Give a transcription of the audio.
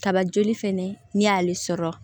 Kaba joli fɛnɛ n'i y'ale sɔrɔ